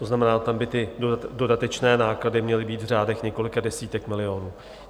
To znamená, tam by ty dodatečné náklady měly být v řádech několika desítek milionů.